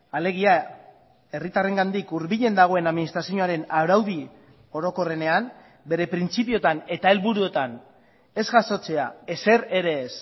alegia herritarrengandik hurbilen dagoen administrazioaren araudi orokorrenean bere printzipioetan eta helburuetan ez jasotzea ezer ere ez